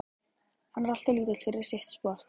Hann er alltof lítill fyrir sitt sport.